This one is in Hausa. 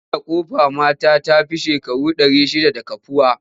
Marinar Ƙofar mata ta fi shekaru ɗari shidda da kafuwa.